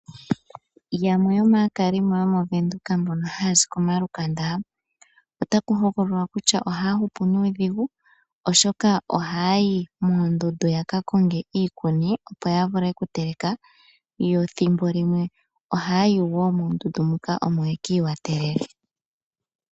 Yamwe yomaakalimo yomoVenduka mbono haya zi komalukanda, otaku hokololwa kutya ohaya hupu nuudhigu, oshoka ohaya yi moondundu ya ka konge iikuni opo ya vule oku teleka, yo thimbo limwe ohaya yi wo moondundu muka omo yeki i watelele.